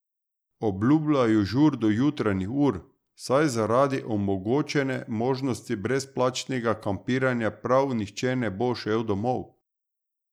Obljubljajo žur do jutranjih ur, saj zaradi omogočene možnosti brezplačnega kampiranja prav nihče ne bo šel domov!